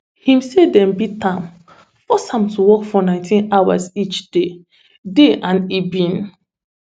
im say dem beat am force am to work for nineteen hours each day day and e bin